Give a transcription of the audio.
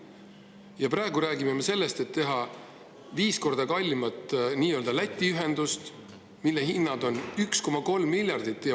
Ja praegu räägime me sellest, et vaja on viis korda kallimat Läti ühendust, mille on 1,3 miljardit.